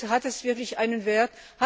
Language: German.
Hat das wirklich einen Wert?